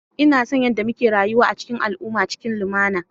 Ina son yadda muke rayuwa a cikin al'ummarmu cikin lumana.